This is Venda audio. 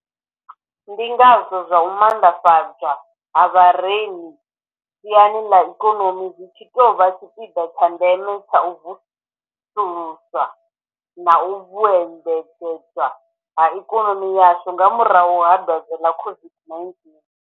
Ndi ngazwo zwa u maanḓafha dzwa ha vharemi siani ḽa ikonomi zwi tshi tou vha tshipiḓa tsha ndeme tsha u vusuluswa na u vhuedzedzwa ha ikonomi yashu nga murahu ha dwadze ḽa COVID-19.